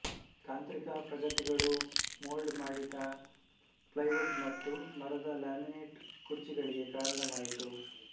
ತಾಂತ್ರಿಕ ಪ್ರಗತಿಗಳು ಮೊಲ್ಡ್ ಮಾಡಿದ ಪ್ಲೈವುಡ್ ಮತ್ತು ಮರದ ಲ್ಯಾಮಿನೆಟ್ ಕುರ್ಚಿಗಳಿಗೆ ಕಾರಣವಾಯಿತು